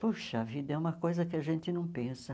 Puxa vida, é uma coisa que a gente não pensa.